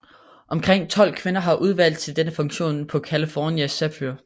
Omkring tolv kvinder var udvalgt til denne funktion på California Zephyr